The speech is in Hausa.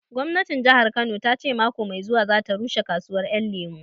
Gwamnatin Jahar Kano ta ce mako mai zuwa za ta rushe kasuwar Ƴan Lemu